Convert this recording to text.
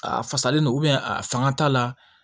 A fasalen don a fanga t'a la